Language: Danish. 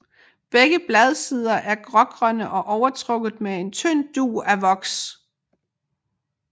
Begge bladsider er grågrønne og overtrukket med en tynd dug af voks